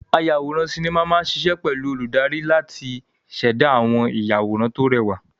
Ayàwòrán sinimá máa ṣiṣẹ́ pẹ̀lú olùdarí láti ṣẹ̀dá àwọn ìyàwòrán tó rẹwà.